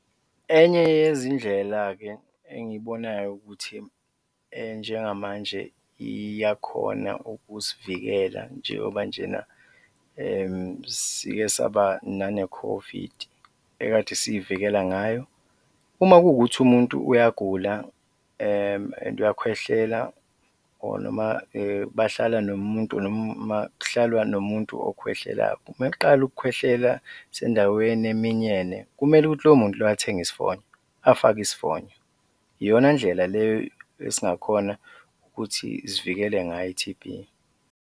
Enye yezindlela-ke engiyibonayo ukuthi njengamanje iyakhona ukusivikela njengoba njena sike saba nane-COVID ekade siy'vikela ngayo, uma kuwukuthi umuntu uyagula and uyakhwehlela or noma bahlala nomuntu noma kuhlalwa nomuntu okhwehlelayo, meqala ukukhwehlela sendaweni eminyene, kumele ukuthi loyo muntu loyo athenga isifonyo afake isifonyo, iyona ndlela le esingakhona ukuthi sivikele ngayo i-T_B.